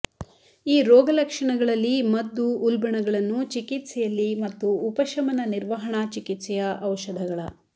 ಈ ರೋಗಲಕ್ಷಣಗಳ ರಲ್ಲಿ ಮದ್ದು ಉಲ್ಬಣಗಳನ್ನು ಚಿಕಿತ್ಸೆಯಲ್ಲಿ ಮತ್ತು ಉಪಶಮನ ನಿರ್ವಹಣಾ ಚಿಕಿತ್ಸೆಯ ಔಷಧಗಳ